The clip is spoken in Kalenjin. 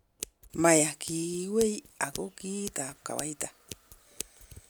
Maya kiwei ago kiit ab kawaita.